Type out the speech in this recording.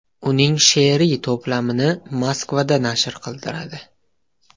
Uning she’riy to‘plamini Moskvada nashr qildiradi.